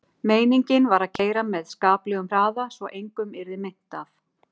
Meiningin var að keyra með skaplegum hraða svo að engum yrði meint af.